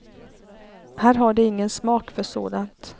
Här har de ingen smak för sådant.